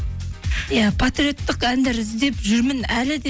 иә патриоттық әндер іздеп жүрмін әлі де